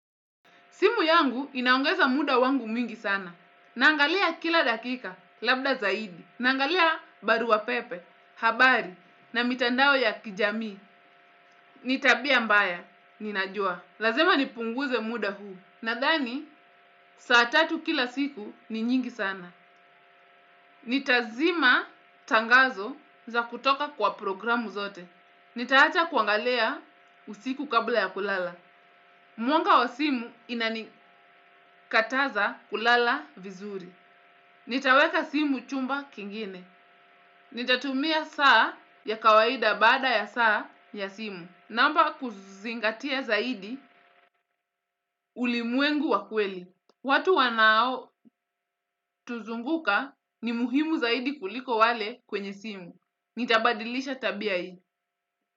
Simu yangu inaongeza muda wangu mwingi sana. Naangalia kila dakika labda zaidi. Naangalia barua pepe, habari na mitandao ya kijamii. Ni tabia mbaya, ninajua. Lazima nipunguze muda huu. Nadhani, saa tatu kila siku ni nyingi sana. Nitazima tangazo za kutoka kwa programu zote. Nitawacha kuangalia usiku kabla ya kulala. Mwanga wa simu inanikataza kulala vizuri. Nitaweka simu chumba kingine. Nitatumia saa ya kawaida baada ya saa ya simu. Naomba kuzingatia zaidi ulimwengu wa kweli. Watu wanaotuzunguka ni muhimu zaidi kuliko wale kwenye simu. Nitabadilisha tabia hii.